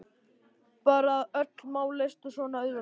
Bara að öll mál leystust svona auðveldlega.